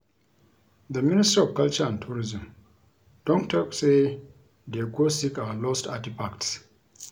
The ministry of culture and Tourism don talk say dey go seek our lost artefacts